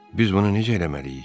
Biz bunu necə eləməliyik?